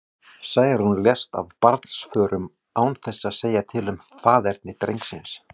Særún lést af barnsförum, án þess að segja til um faðerni drengsins.